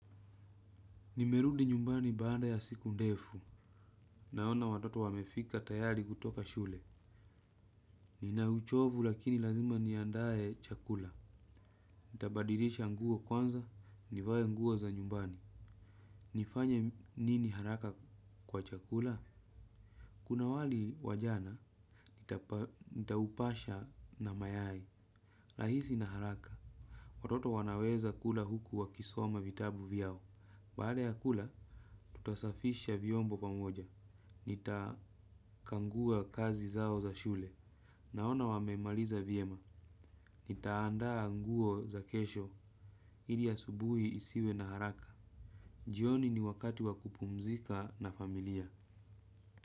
Nimerudi nyumbani baada ya siku ndefu. Naona watoto wamefika tayari kutoka shule. Nina uchovu lakini lazima niandae chakula. Nitabadilisha nguo kwanza, nivae nguo za nyumbani. Nifanya nini haraka kwa chakula? Kuna wali wa jana, nitaupasha na mayai. Rahisi na haraka. Watoto wanaweza kula huku wakisoma vitabu vyao. Baada ya kula, tutasafisha viombo pamoja. Nitakangua kazi zao za shule. Naona wamemaliza vyema. Nitaandaa nguo za kesho. Ili asubuhi isiwe na haraka. Jioni ni wakati wa kupumzika na familia.